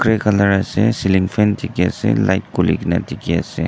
gray colour ase ceiling fan dekhi ase light khule kina ase.